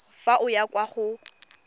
fa o ya kwa go